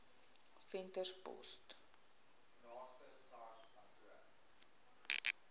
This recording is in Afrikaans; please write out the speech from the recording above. venterspost